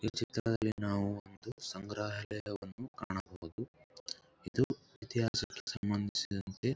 ಈ ಚಿತ್ರದಲ್ಲಿ ನಾವು ಒಂದು ಸಂಗ್ರಹಾಲಯವನ್ನು ನಾವು ಕಾಣಬಹುದು. ಇದು ಇತಿಹಾಸಕ್ಕೆ ಸಂಬಂಧಿಸಿದಂತೆ --